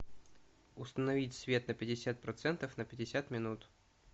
установить свет на пятьдесят процентов на пятьдесят минут